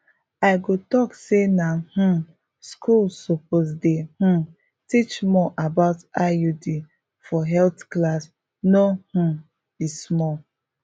i go talk say na um schools suppose dey um teach more about iuds for health class no um be small